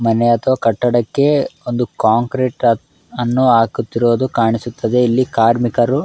ಮನೆ ಅಥವಾ ಕಟ್ಟಡಕ್ಕೆ ಒಂದು ಕಾಂಕ್ರೀಟ್ ಅನ್ನು ಹಾಕುತ್ತಿರುವುದು ಕಾಣಿಸುತ್ತಿದೆ ಇಲ್ಲಿ ಕಾರ್ಮಿಕರು --